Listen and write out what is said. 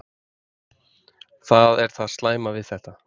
Það er það slæma við þetta.